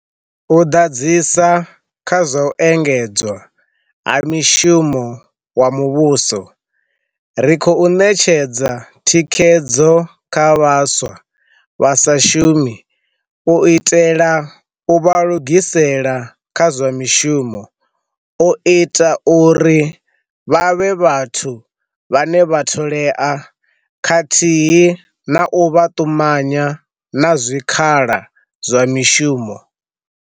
U ḓadzisa kha zwa u engedzwa ha mishumo wa muvhuso, ri khou ṋetshedza thikhedzo kha vhaswa vha sa shumi u itela u vha lugisela kha zwa mishumo, u ita uri vha vhe vhathu vhane vha tholea khathihi na u vha ṱumanya na zwikhala zwa mishumo.